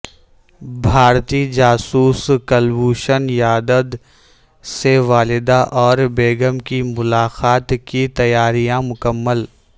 بھارتی جاسوس کلبھوشن یادد سے والدہ اور بیگم کی ملاقات کی تیاریاں مکمل